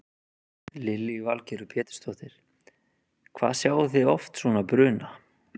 Lillý Valgerður Pétursdóttir: Hvað sjáið þið oft svona bruna?